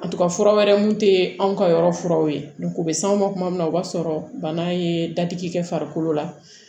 A to ka fura wɛrɛ mun te anw ka yɔrɔ furaw ye u be s'anw ma kuma min na o b'a sɔrɔ bana ye dadigi kɛ farikolo la